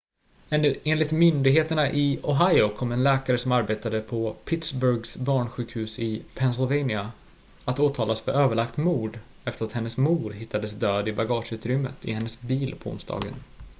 enligt myndigheterna i ohio kommer en läkare som arbetade på pittsburghs barnsjukhus i pennsylvania att åtalas för överlagt mord efter att hennes mor hittades död i bagageutrymmet i hennes bil på onsdagen